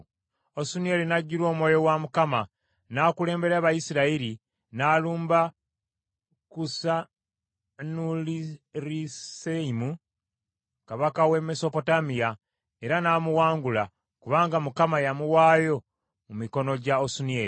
Osunieri n’ajjula Omwoyo wa Mukama n’akulembera Abayisirayiri, n’alumba Kusanurisaseyimu kabaka w’e Mesopotamiya era n’amuwangula kubanga Mukama yamuwaayo mu mikono gya Osunieri.